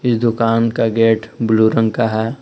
इस दुकान का गेट ब्ल्यू रंग का है।